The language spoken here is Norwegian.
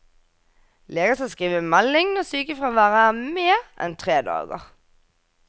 Leger skal skrive melding når sykefraværet er mer enn tre dager.